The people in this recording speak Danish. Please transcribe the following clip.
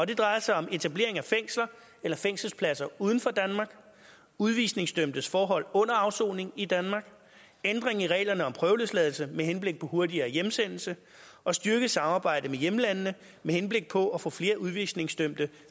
det drejer sig om etablering af fængsler eller fængselspladser uden for danmark udvisningsdømtes forhold under afsoning i danmark ændring i reglerne om prøveløsladelse med henblik på hurtigere hjemsendelse og styrket samarbejde med hjemlandene med henblik på at få flere udvisningsdømte